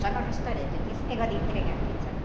Só no restaurante, não tinha esse negócio de entregar a pizza, não.